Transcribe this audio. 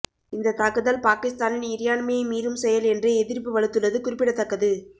இந்த தாக்குதல் பாகிஸ்தானின் இறையாண்மையை மீறும் செயல் என்று எதிர்ப்பு வலுத்துள்ளது குறிப்பிடத்தக்கது